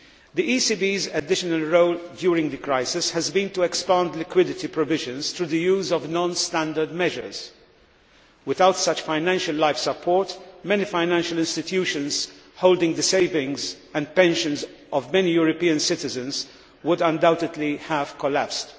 The ECB's additional role during the crisis has been to expand liquidity provisions through the use of non standard measures. Without such financial life support, many financial institutions holding the savings and pensions of many European citizens would undoubtedly have collapsed.